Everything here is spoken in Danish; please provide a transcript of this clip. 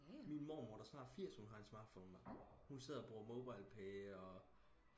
min mormor der er snart firs hun har en smartphone hun sidder og bruge mobilepay og